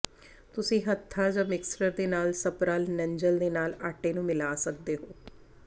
ਤੁਸੀਂ ਹੱਥਾਂ ਜਾਂ ਮਿਕਸਰ ਦੇ ਨਾਲ ਸਪਰਲ ਨੰਜ਼ਲ ਦੇ ਨਾਲ ਆਟੇ ਨੂੰ ਮਿਲਾ ਸਕਦੇ ਹੋ